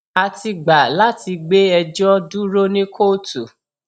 a ti gbà láti gbé ẹjọ dúró ní kóòtù